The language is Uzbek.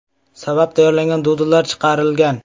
sabab tayyorlangan dudllar chiqarilgan.